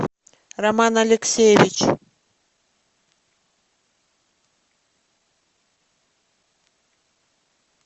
роман алексеевич